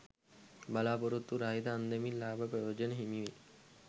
බලා‍පොරොත්තු රහිත අන්දමින් ලාභ ප්‍රයෝජන හිමිවේ.